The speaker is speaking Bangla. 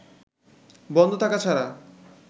বন্ধ থাকা ছাড়া